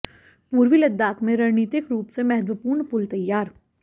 पूर्वी लद्दाख में रणनीतिक रूप से महत्वपूर्ण पुल तैयार